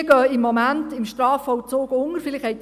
Diese gehen im Moment im Strafvollzug unter.